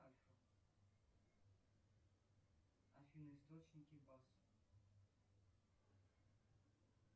афина источники вас